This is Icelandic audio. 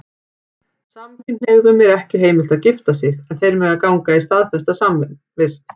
Samkynhneigðum er ekki heimilt að gifta sig, en þeir mega ganga í staðfesta samvist.